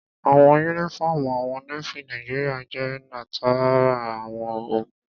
Àwọ̀ yúnífọ́ọ̀mù àwọn Nééfì Nàìjíríyà jẹ́ látara àwọ̀ òkun